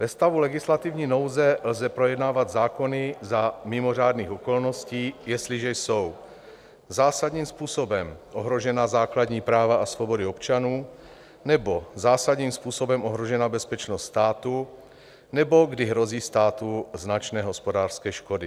Ve stavu legislativní nouze lze projednávat zákony za mimořádných okolností, jestliže jsou zásadním způsobem ohrožena základní práva a svobody občanů nebo zásadním způsobem ohrožena bezpečnost státu nebo kdy hrozí státu značné hospodářské škody.